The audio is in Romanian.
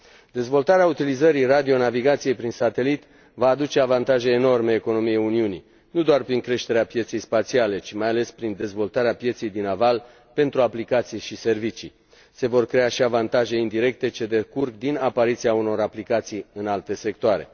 Dezvoltarea utilizării radionavigației prin satelit va aduce avantaje enorme economiei Uniunii, nu doar prin creșterea pieței spațiale, ci mai ales prin dezvoltarea pieței din aval pentru aplicații și servicii. Se vor crea și avantaje indirecte, ce decurg din apariția unor aplicații în alte sectoare.